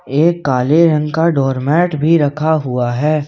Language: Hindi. एक काले रंग का डोर मैट भी रखा हुआ है।